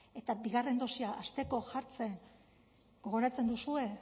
eta bigarren dosia hasteko jartzen gogoratzen duzue